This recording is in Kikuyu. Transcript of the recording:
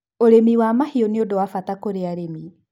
ũrĩmi wa mahiũ ni ũndũ wa bata kũrĩ arĩmi